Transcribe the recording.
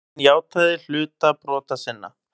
Hann játaði hluta brota sinna.